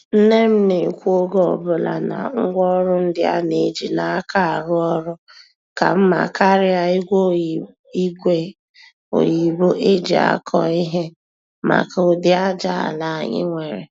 Nne m na-ekwu oge ọbụla na ngwaọrụ ndị a na-eji n'aka arụ ọrụ ka mma karịa ígwè oyibo eji akọ ihe maka udi ájá ala anyị nwere.